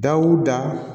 Dawu da